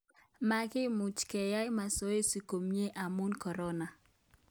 Makiimuch keyai masoesi komye amuu Korona